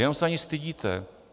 Jenom se za ni stydíte.